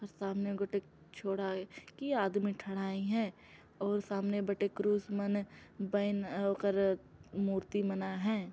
सामने गुटिक छोड़ा ए की आदमी ठड़ाई हैं अऊ सामने बड़े क्रूस मने बैन ओकर मूर्ति बना हैं।